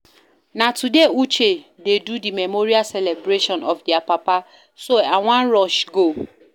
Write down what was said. Na today Uche dey do the memorial celebration of their papa so I wan rush go